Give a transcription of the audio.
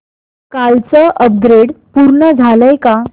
कालचं अपग्रेड पूर्ण झालंय का